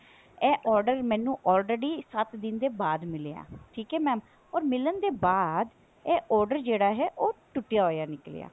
ਇਹ order ਮੈਨੂੰ already ਸੱਤ ਦਿਨ ਦੇ ਬਾਅਦ ਮਿਲਿਆ ਹੈ ਠੀਕ ਹੈ mam or ਮਿਲਣ ਦੇ ਬਾਅਦ ਇਹ order ਜਿਹੜਾ ਹੈ ਉਹ ਟੁੱਟਿਆ ਹੋਇਆ ਨਿੱਕਲਿਆ